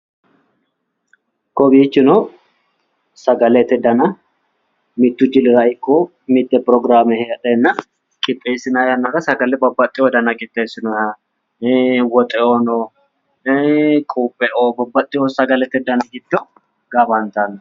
Kowiichino sagalete dana mittu jilira ikko mitte prograame heedheenna qixxeessinayi yannara sagale babbaxxeewo dana qixxessinoyeeho woxe"oono, quuphe"oo babbaxxeewo sagalete dani giddo gaamantanno.